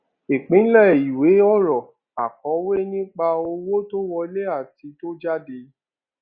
ìpìlẹ ìwé ọrọ akòwé nipa owó tó wọlé àti tó jáde